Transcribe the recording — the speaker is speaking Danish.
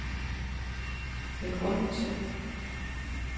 begrundelse